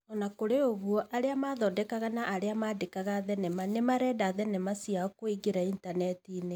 O na kũrĩ ũguo, arĩa mathondekaga na arĩa maandĩkaga thenema nĩ marenda thenema ciao kũingĩrio initaneti-inĩ.